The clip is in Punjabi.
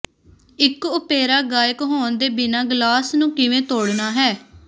ਇੱਕ ਓਪੇਰਾ ਗਾਇਕ ਹੋਣ ਦੇ ਬਿਨਾਂ ਗਲਾਸ ਨੂੰ ਕਿਵੇਂ ਤੋੜਨਾ ਹੈ